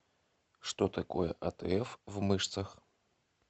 что такое атф в мышцах